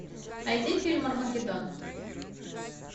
найди фильм армагеддон